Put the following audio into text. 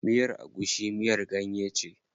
Miyar agushi miyar ganye ce.